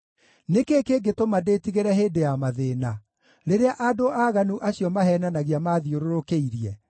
Nĩ kĩĩ kĩngĩtũma ndĩtigĩre hĩndĩ ya mathĩĩna, rĩrĩa andũ aaganu acio maheenanagia maathiũrũrũkĩirie,